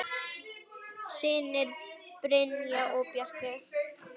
Synir: Brynjar og Bjarki.